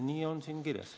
Nii on siin kirjas.